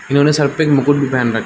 इन्होंने सर पे एक मुकट भी पहन रखा --